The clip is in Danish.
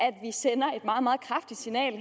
og meget kraftigt signal